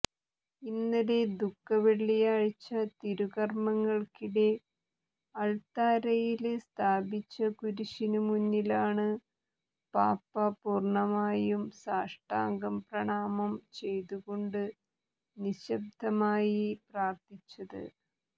ഇന്നലെ ദുഃഖവെള്ളിയാഴ്ച തിരുകര്മ്മങ്ങള്ക്കിടെ അള്ത്താരയില് സ്ഥാപിച്ച കുരിശിനു മുന്നിലാണ് പാപ്പ പൂര്ണ്ണമായും സാഷ്ടാംഗം പ്രണാമം ചെയ്തുകൊണ്ട് നിശബ്ദമായി പ്രാര്ത്ഥിച്ചത്